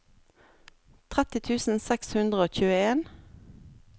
tretti tusen seks hundre og tjueen